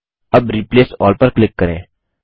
अब replace all पर click करें